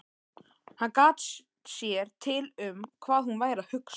Hann gat sér til um hvað hún væri að hugsa.